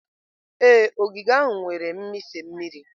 Ee, ogige ahụ nwere mmịfe mmiri.